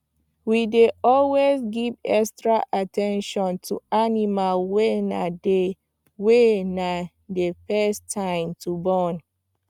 we dey always give extra at ten tion to animals wy na their wy na their first time to born